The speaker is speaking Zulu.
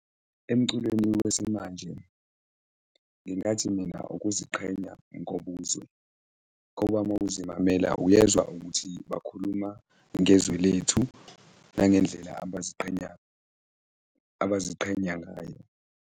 Emculweni wesimanje, ngingathi mina ukuziqhenya ngobuzwe ngoba ma uzimamela uyezwa ukuthi bakhuluma ngezwe lethu nangendlela abaziqhenya, abaziqhenya ngayo.